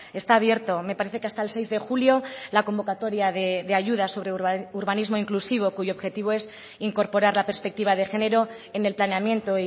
está abierto me parece que hasta el seis de julio la convocatoria de ayudas sobre urbanismo inclusivo cuyo objetivo es incorporar la perspectiva de género en el planeamiento